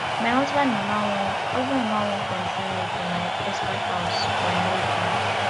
my husband mama wan husband mama wan control me for my husband house but i no gree